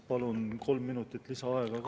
Palun kolm minutit lisaaega ka.